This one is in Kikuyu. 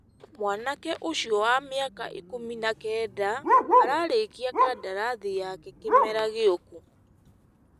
Mwanake ũcio wa mĩaka ikũmi na Kenda ararĩkia kandarathi yake kĩmera gĩũku.